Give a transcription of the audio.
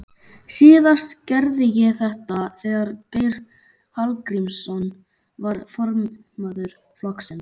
Síðast gerði ég þetta þegar Geir Hallgrímsson var formaður flokksins.